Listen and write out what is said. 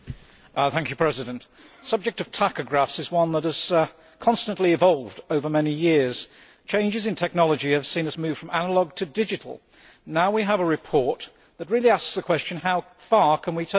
Mr President, the subject of tachographs is one that has constantly evolved over many years. Changes in technology have seen us move from analogue to digital, and now we have a report that really asks the question how far can we take this?